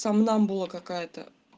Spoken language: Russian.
сомнамбула какая-то